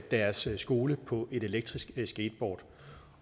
deres skole på et elektrisk skateboard